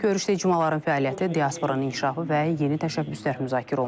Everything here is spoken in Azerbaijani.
Görüşdə icmaların fəaliyyəti, diasporanın inkişafı və yeni təşəbbüslər müzakirə olunub.